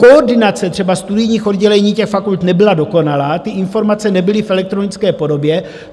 Koordinace třeba studijních oddělení těch fakult nebyla dokonalá, ty informace nebyly v elektronické podobě.